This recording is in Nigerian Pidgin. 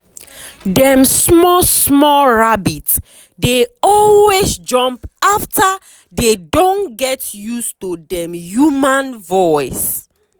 dem small small rabbit dey always jump around after dey don get use to dem human voice.